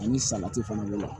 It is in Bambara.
Ani salati fana bɛ